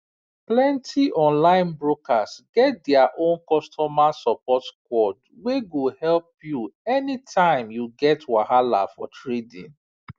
plenty online brokers get their own customer support squad wey go help you anytime you get wahala for trading